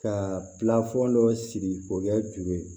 Ka pilafɔn dɔ sigi k'o kɛ juru ye